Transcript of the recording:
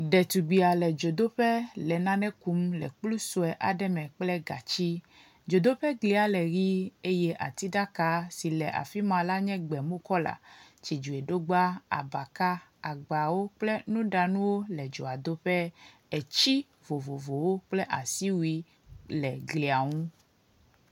Ɖetugbia le dzodoƒe le nane kum le kplu sue aɖe me kple gatsi. Dzodoƒea glia le ʋi eye atiɖaka si le afi ma la nye gbemu kɔla. Tsidzoeɖogba, abaka, agbawo kple nuɖanuwo le dzoadoƒe. atsi vovovowo kple asiwui le glia nu.